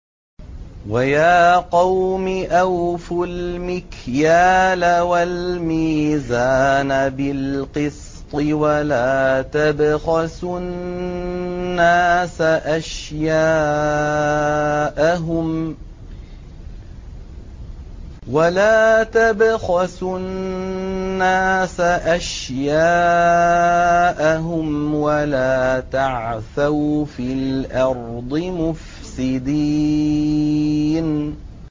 وَيَا قَوْمِ أَوْفُوا الْمِكْيَالَ وَالْمِيزَانَ بِالْقِسْطِ ۖ وَلَا تَبْخَسُوا النَّاسَ أَشْيَاءَهُمْ وَلَا تَعْثَوْا فِي الْأَرْضِ مُفْسِدِينَ